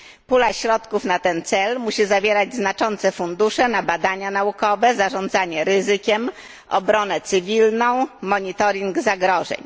Pula środków na ten cel musi zawierać znaczące fundusze na badania naukowe, zarządzanie ryzykiem, obronę cywilną, monitoring zagrożeń.